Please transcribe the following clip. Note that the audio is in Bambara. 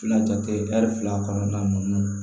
Fila jate ɛri fila kɔnɔna ninnu